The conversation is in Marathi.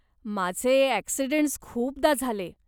माझे अॅक्सिडंटस् खूपदा झाले.